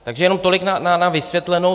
Takže jenom tolik na vysvětlenou.